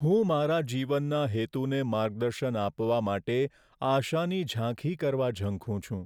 હું મારા જીવનના હેતુને માર્ગદર્શન આપવા માટે આશાની ઝાંખી કરવા ઝંખું છું.